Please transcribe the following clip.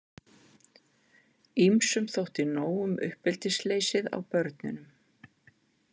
Ýmsum þótti nóg um uppeldisleysið á börnunum.